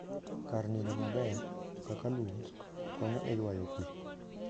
Kar nindo maber, kaka lum, konyo e ywayo pi.